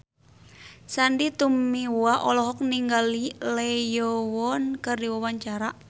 Sandy Tumiwa olohok ningali Lee Yo Won keur diwawancara